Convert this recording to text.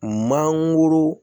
Mangoro